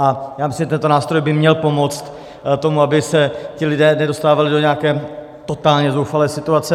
A já myslím, že tento nástroj by měl pomoct tomu, aby se ti lidé nedostávali do nějaké totálně zoufalé situace.